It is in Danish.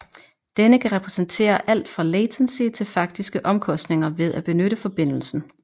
Denne kan repræsentere alt fra latency til faktiske omkostninger ved at benytte forbindelsen